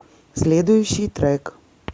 следующий трек